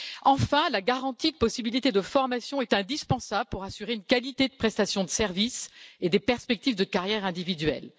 Enfin, garantir des possibilités de formation est indispensable pour assurer la qualité de la prestation de services et des perspectives de carrière individuelle.